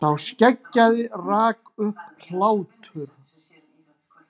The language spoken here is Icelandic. Sá skeggjaði rak upp hlátur.